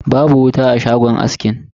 Babu wuta a shagon askin.